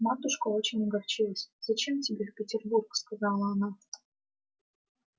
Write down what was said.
матушка очень огорчилась зачем тебе в петербург сказала она